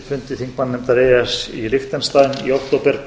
fundi þingmannanefndar e e s í liechtenstein í október